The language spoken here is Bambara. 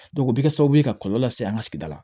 o bɛ kɛ sababu ye ka kɔlɔlɔ lase an ka sigida la